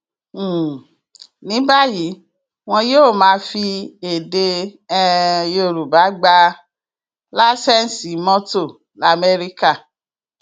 um ní báyìí wọn yóò máa fi èdè um yorùbá gbá làǹṣeǹsì mọtò lamẹríkà